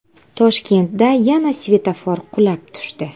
Toshkentda yana svetofor qulab tushdi.